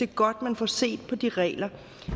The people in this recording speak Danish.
godt at man får set på de regler